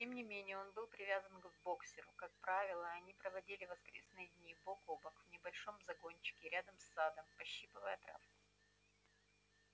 тем не менее он был привязан к боксёру как правило они проводили воскресные дни бок о бок в небольшом загончике рядом с садом пощипывая травку